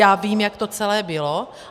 Já vím, jak to celé bylo.